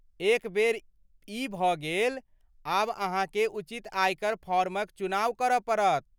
एक बेर ई भऽ गेल, आब अहाँकेँ उचित आयकर फॉर्मक चुनाव करऽ पड़त।